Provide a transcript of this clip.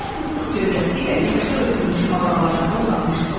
Onlar fıstıq gövdəsi ilə yaxşı örtülmüş mağaralarında uzanmışdılar.